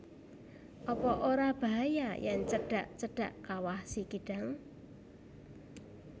Apa ora bahaya yen cedak cedak Kawah Sikidang?